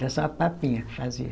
Era só a papinha que fazia.